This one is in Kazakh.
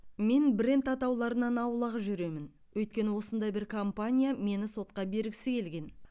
мен бренд атауларынан аулақ жүремін өйткені осындай бір компания мені сотқа бергісі келген